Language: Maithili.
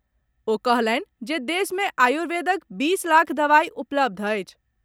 ओ कहलनि जे देश मे आयुर्वेदक बीस लाख दवाई उपलब्ध अछि।